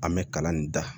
An bɛ kalan nin da